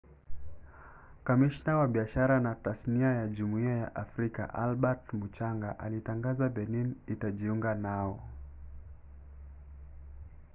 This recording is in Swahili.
kamishna wa biashara na tasnia ya jumuiya ya afrika albert muchanga alitangaza benin ingejiunga nao